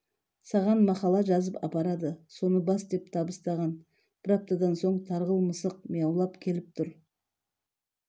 саған мақала жазып апарады соны бас деп табыстаған бір аптадан соң тарғыл мысық мияулап келіп тұр